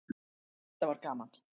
Þetta var gaman.